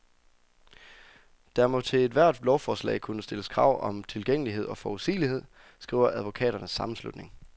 Der må til ethvert lovforslag kunne stilles krav om tilgængelighed og forudsigelighed, skriver advokaternes sammenslutning.